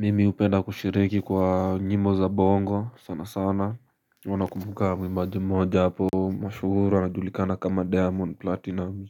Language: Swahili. Mimi hupenda kushiriki kwa njimbo za bongo sana sana, mimi huwa nakumbuka mwimbaji moja hapo mashuhuri, anajulikana kama diamond platinum.